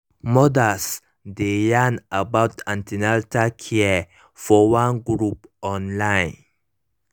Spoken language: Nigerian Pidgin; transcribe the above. mothers dey yarn about an ten atal care for one group on online